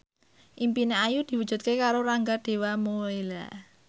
impine Ayu diwujudke karo Rangga Dewamoela